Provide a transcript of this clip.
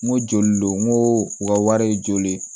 N ko joli don n ko u ka wari ye joli ye